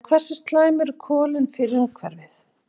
En hversu slæm eru kolin fyrir umhverfið?